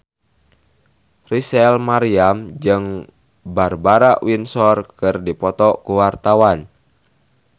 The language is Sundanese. Rachel Maryam jeung Barbara Windsor keur dipoto ku wartawan